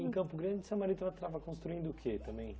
Em Campo Grande, o seu marido estava estava construindo o quê também?